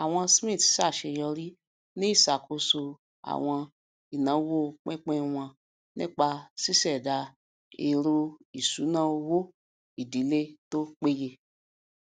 àwọn smiths ṣàṣeyọrí ní iṣàkóso àwọn ináwó pínpín wọn nípa ṣíṣèdá èròìṣúnáowó ìdílé tó péye